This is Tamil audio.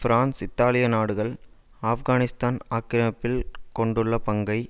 பிரான்ஸ் இத்தாலிய நாடுகள் ஆப்கானிஸ்தான் ஆக்கிரமிப்பில் கொண்டுள்ள பங்கை